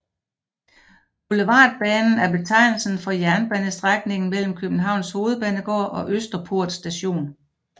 Boulevardbanen er betegnelsen for jernbanestrækningen mellem Københavns Hovedbanegård og Østerport Station